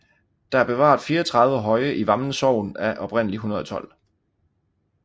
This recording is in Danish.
Der er bevaret 34 høje i Vammen Sogn af oprindelig 112